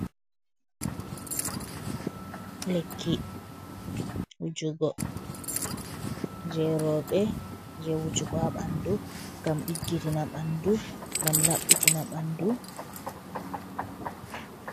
Lekki wujugo je roɓe je wujugo ha ɓandu, gam ɗiggitina ɓandu, gam laɓɓitina ɓandu.